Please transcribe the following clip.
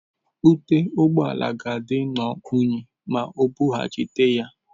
Ute ụgbọ ala ga-adị nnọọ unyi ma O bughachite ya.